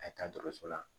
A ye taa dɔgɔtɔrɔso la